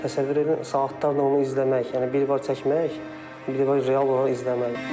Təsəvvür edin saatlarla onu izləmək, yəni biri var çəkmək, biri var real onu izləmək.